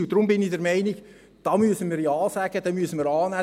Deshalb bin ich der Meinung, wir müssten da Ja sagen, wir müssten es annehmen.